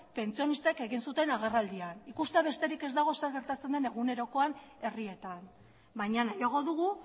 pentsionistak egin zuten agerraldian ikustea besterik ez dago zer gertatzen den egunerokoan herrietan baina nahiago dugu